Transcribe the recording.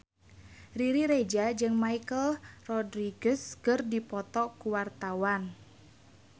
Riri Reza jeung Michelle Rodriguez keur dipoto ku wartawan